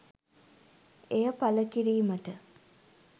එය පළ කිරීමට